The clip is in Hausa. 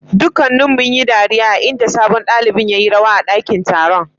Dukanuun yi dariya a'inda sabon dalibain ya yi rawa a dakin taron.